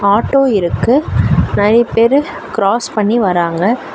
Auto இருக்கு நறைய பேரு க்ராஸ் பண்ணி வராங்க.